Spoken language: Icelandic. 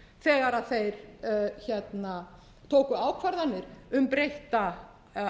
að ræða þegar þeir tóku ákvarðanir um